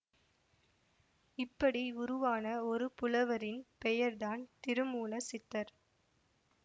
இப்படி உருவான ஒரு புலவரின் பெயர்தான் திருமூல சித்தர்